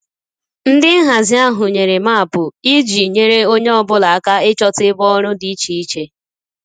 Ndị nhazi ahụ nyere maapụ iji nyere onye ọ bụla aka ịchọta ebe ọrụ dị iche iche